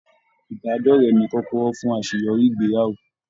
Ibadọrẹ̀ ní kọkọrọ fún àṣeyọrí ìgbéyàwó.